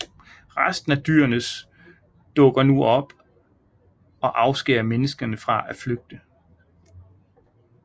Resten af dyrenes dukker nu op og afskærer menneskene fra at flygte